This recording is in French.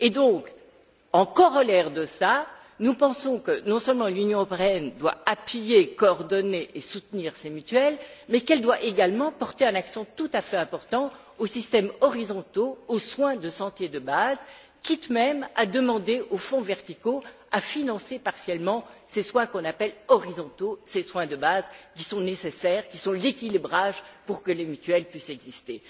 Donc, en corollaire de cela, nous pensons que non seulement l'Union européenne doit appuyer, coordonner et soutenir ces mutuelles, mais qu'elle doit également porter un accent tout à fait important aux systèmes horizontaux, aux soins de santé de base, quitte même à demander aux fonds verticaux à financer partiellement ces soins qu'on appelle horizontaux, ces soins de base qui sont nécessaires, qui sont l'équilibrage pour que les mutuelles puissent exister.